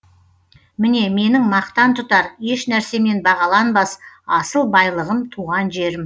міне менің мақтан тұтар ешнәрсемен бағаланбас асыл байлығым туған жерім